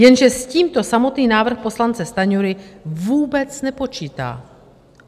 Jenže s tímto samotný návrh poslance Stanjury vůbec nepočítá.